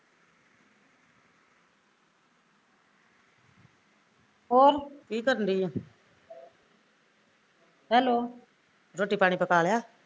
ਹੋਰ hello